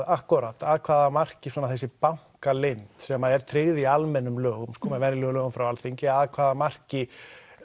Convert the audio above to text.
akkúrat af hvaða marki þessi bankaleynd sem er tryggð í almennum lögum venjulegum lögum frá Alþingi af hvaða marki